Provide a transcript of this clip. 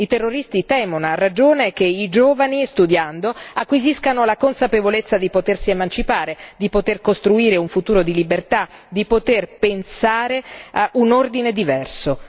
I terroristi temono a ragione che i giovani, studiando, acquisiscano la consapevolezza di potersi emancipare, di poter costruire un futuro di libertà, di poter pensare a un ordine diverso.